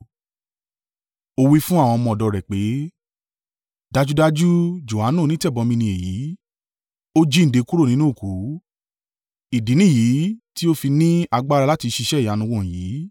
ó wí fún àwọn ọmọ ọ̀dọ̀ rẹ̀ pé, “Dájúdájú Johanu onítẹ̀bọmi ni èyí, ó jíǹde kúrò nínú òkú. Ìdí nìyí tí ó fi ní agbára láti ṣiṣẹ́ ìyanu wọ̀nyí.”